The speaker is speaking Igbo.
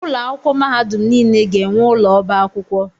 Ụlọ akwụkwọ mahadum niile ga-enwe ụlọ ọba akwụkwọ.